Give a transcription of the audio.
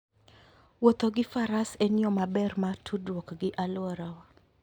Wuotho gi Faras en yo maber mar tudruok gi alworawa.